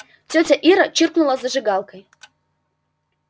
тётя ира чиркнула зажигалкой